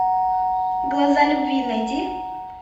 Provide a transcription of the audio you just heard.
глаза любви найди